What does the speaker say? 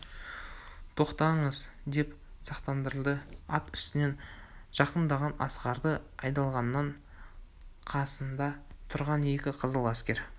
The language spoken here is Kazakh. тоқтаңыз деп сақтандырды ат үстінен жақындаған асқарды айдалғанның қасында тұрған екі қызыл әскер